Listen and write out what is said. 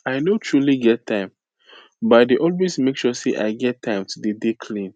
i no truly get time but i dey always make sure say i get time to dey dey clean